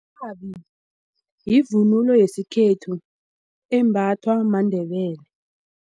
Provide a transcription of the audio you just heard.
Irhabi yivunulo yesikhethu embathwa maNdebele.